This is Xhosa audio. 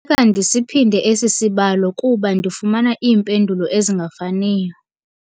Kufuneka ndisiphinde esi sibalo kuba ndifumana iimpendulo ezingafaniyo.